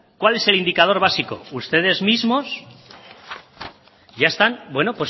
cuál es el indicador básico ustedes mismos ya están bueno